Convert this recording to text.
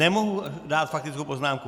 Nemohu dát faktickou poznámku.